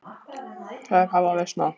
Þær hafa versnað.